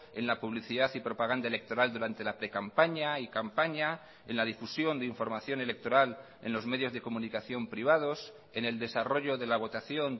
en la publicidad y propaganda electoral durante la precampaña y campaña en la difusión de información electoral en los medios de comunicación privados en el desarrollo de la votación